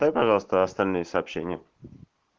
дай пожалуйста остальные сообщения